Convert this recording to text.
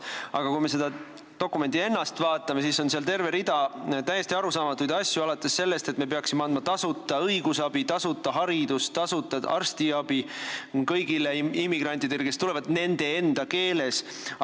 Aga kui me seda dokumenti ennast vaatame, siis on seal terve rida täiesti arusaamatuid asju, alates sellest, et me peaksime andma tasuta õigusabi, tasuta haridust, tasuta arstiabi kõigile immigrantidele, kes tulevad, nende enda keeles.